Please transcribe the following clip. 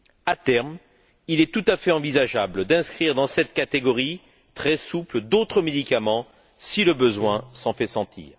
À terme, il est tout à fait envisageable d'inscrire dans cette catégorie très souple d'autres médicaments si le besoin s'en fait sentir.